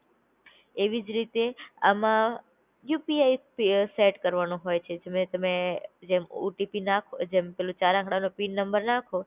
એવીજ રીતે આમાં યુપીઆઈ સેટ કરવાનું હોય છે જેમ તમે જેમ ઓટીપી નાખ જેમ પેલા ચાર અકડા નો પિન નાખો